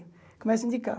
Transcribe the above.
Começa a indicar.